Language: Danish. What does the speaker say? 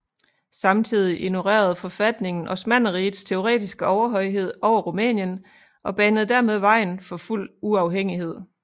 Samtidig ignorede forfatningen Osmannerrigets teoretiske overhøjhed over Rumænien og banede dermed vejen for fuld uafhængighed